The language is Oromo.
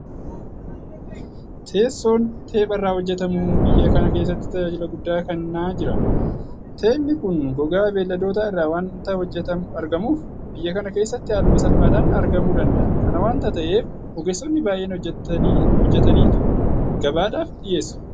Teessoon Teepha irraa hojjetamu biyya kana keessatti tajaajila guddaa kennaa jira. Teephni kun gogaa beelladoodaa irraa waanta argamuuf biyya kana keessatti haaluma salphaadhaan argamuu danda'a. Kana waanta ta'eef ogeessonni baay'een hojjetaniitu gabaadhaaf dhiyeessu.